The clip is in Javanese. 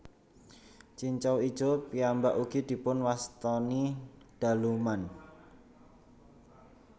Cincau ijo piyambak ugi dipun wastani daluman